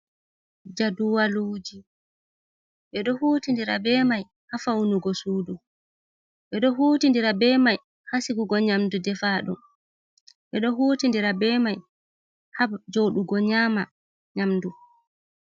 Jaduwaluji be do huuti ndira be mai ha faunugo sudu. Be do huutidira be mai ha sigugo nyamdu defadum. Be ɗo huutindira be mai ha joodugo nyaama nyamdu.